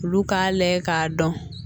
Olu k'a lajɛ k'a dɔn